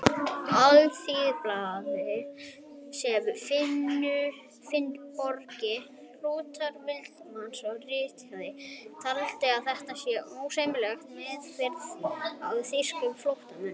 Alþýðublaðið, sem Finnbogi Rútur Valdimarsson ritstýrði, taldi að þetta væri ósæmileg meðferð á þýskum flóttamönnum.